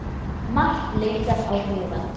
Margt leitar á hugann.